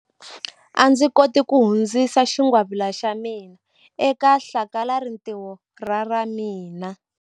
A ndzi koti ku hundzisa xingwavila xa mina eka hlakalarintiho ra ra mina.